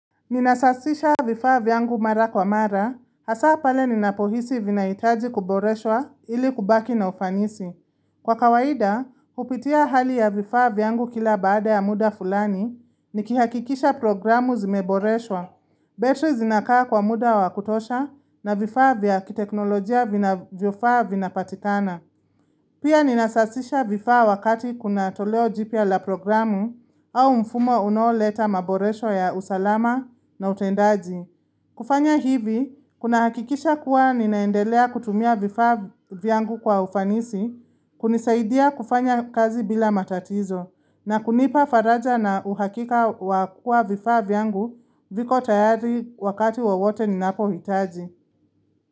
Ninasasisha vifaa vyangu mara kwa mara, hasa pale ninapohisi vinaitaji kuboreshwa ili kubaki na ufanisi. Kwa kawaida, upitia hali ya vifaa vyangu kila baada ya muda fulani ni kihakikisha programu zimeboreshwa. Betri zinakaa kwa muda wa kutosha na vifaa vya kiteknolojia vinavyofaa vinapatitana. Pia ninasasisha vifaa wakati kuna toleo jipya la programu au mfumo unaoleta maboresho ya usalama na utendaji. Kufanya hivi, kuna hakikisha kuwa ninaendelea kutumia vifaa vyangu kwa ufanisi, kunizaidia kufanya kazi bila matatizo, na kunipa faraja na uhakika wa kua vifaa vyangu viko tayari wakati wowote ninapohitaji.